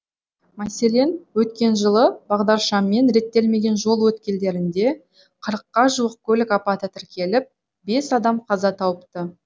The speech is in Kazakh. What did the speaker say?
мәселен өткен жылы бағдаршаммен реттелмеген жол өткелдерінде қырыққа жуық көлік апаты тіркеліп бес адам қаза тауыпты